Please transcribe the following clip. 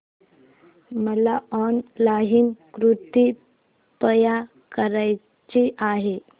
मला ऑनलाइन कुर्ती बाय करायची आहे